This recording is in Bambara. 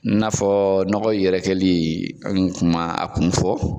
N'a fɔ nɔgɔ yɛrɛkɛli n kum'a kun fɔ